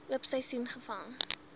oop seisoen gevang